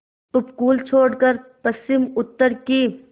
उपकूल छोड़कर पश्चिमउत्तर की